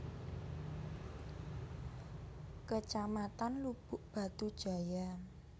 Kecamatan Lubuk Batu Jaya